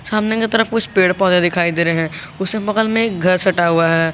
सामने की तरफ कुछ पेड़ पौधे दिखाई दे रहे हैं उसके बगल में एक घर सटा हुआ है।